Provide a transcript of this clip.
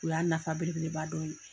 O y'a nafa belebeleba dɔ ye.